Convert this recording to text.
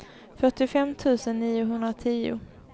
fyrtiofem tusen niohundratio